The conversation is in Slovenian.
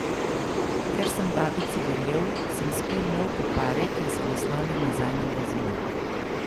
Ker sem babici verjel, sem spil novi poparek in se naslonil nazaj na blazino.